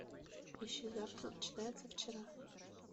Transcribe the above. ищи завтра начинается вчера